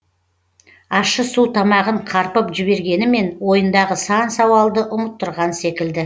ащы су тамағын қарпып жібергенімен ойындағы сан сауалды ұмыттырған секілді